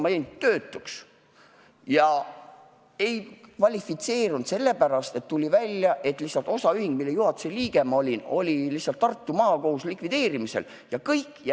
Ma jäin töötuks, kuid ei kvalifitseerunud töötukassas sellepärast, et tuli välja, et osaühing, mille juhatuse liige ma olin, oli Tartu Maakohtus lihtsalt likvideerimisel ja kõik.